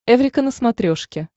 эврика на смотрешке